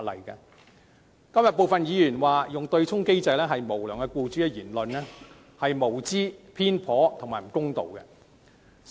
因此，今天有部分議員指利用對沖機制的都是無良僱主的言論，實屬無知、偏頗及有欠公道。